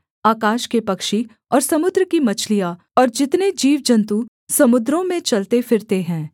आकाश के पक्षी और समुद्र की मछलियाँ और जितने जीवजन्तु समुद्रों में चलते फिरते हैं